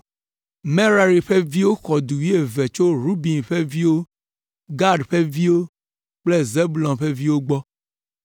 Merari ƒe viwo xɔ du wuieve tso Ruben ƒe viwo, Gad ƒe viwo kple Zebulon ƒe viwo gbɔ.